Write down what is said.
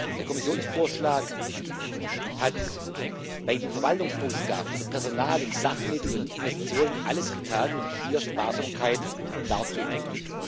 Der Kommissionsvorschlag hat bei den Verwaltungsausgaben für Personal und Sachmittel und Investitionen alles getan, um hier Sparsamkeit darzutun.